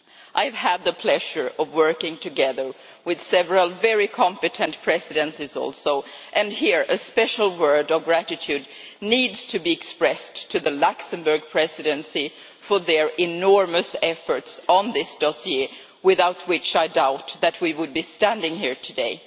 I have had the pleasure of working together with several very competent presidencies also and here a special word of gratitude needs to be expressed to the Luxembourg Presidency for their enormous efforts on this dossier, without which I doubt we would be standing here today.